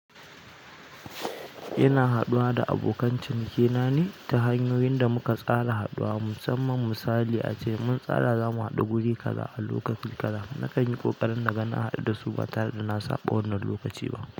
Ina haɗuwa da abokan ciniki nane ta hanyoyin da muka tsara haɗuwa. Musamman misali ace mun tsara zamu haɗu guri kaza a lokaci kaza. Na kan yi ƙoƙari na ga na haɗu dasu batare da na saba wannan lokaci ba.